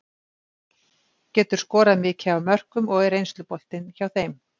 Getur skorað mikið af mörkum og er reynsluboltinn hjá þeim.